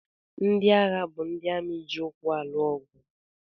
Ndị agha bụ ndị amị ji ụkwụ na-alụ ọgụ.